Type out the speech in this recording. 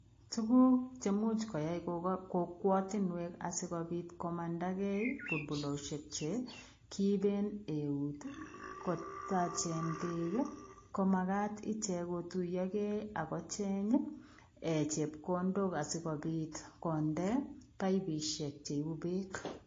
Tuguuk che muuch koyai kokwatiinweek asikobiit komandagei bulbuloziek che kiibeen neut kotacheen beek ii ko magaat icheek kotuyaah gei ii agocheeng chepkondook asikobiit kondee baibusheek cheibuu beek .